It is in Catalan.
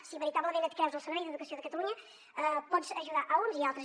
si veritablement et creus el servei d’educació de catalunya pots ajudar a uns i altres